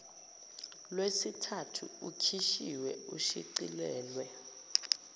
lwesithathu ukhishiwe ushicilelwe